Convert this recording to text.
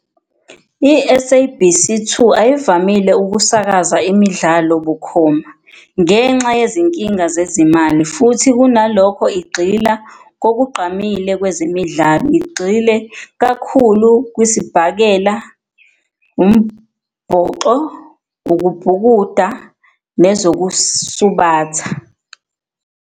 I-SABC 2 ayivamile ukusakaza imidlalo bukhoma ngenxa yezinkinga zezimali, futhi kunalokho igxila kokugqamile kwezemidlalo. Igxile kakhulu kwesibhakela, umbhoxo, ukubhukuda nezokusubatha.